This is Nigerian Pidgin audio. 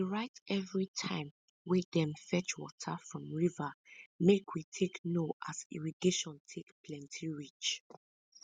she dey write evri time wey dem fetch water from river make we take know as irrigation take plenti reach